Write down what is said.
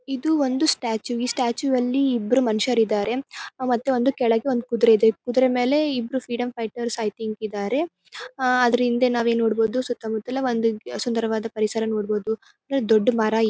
ಇದು ಒಂದು ಸ್ಟ್ಯಾಚು ಈ ಸ್ಟ್ಯಾಚು ವಲ್ಲಿ ಇಬ್ಬರು ಮನುಷ್ಯರು ಇದ್ದಾರೆ ಮತ್ತ್ ಒಂದು ಕೆಳಗೆ ಒಂದು ಕುದುರೆ ಇದೆ ಕುದುರೆ ಮೇಲೆ ಇಬ್ಬರು ಫ್ರೀಡಂ ಫೈಟರ್ ಐ ಥಿಂಕ್ ಇದ್ದಾರೆ. ಹ್ಹ್ಹ್ ಅದರ ಹಿಂದೆ ನಾವೇ ನೋಡಬಹುದು ಸುತ್ತಮುತ್ತ ಎಲ್ಲ ಒಂದು ಸುಂದರವಾದ ಪರಿಸರ ನೋಡಬಹುದು ದೊಡ್ಡ್ ಮರ ಇ --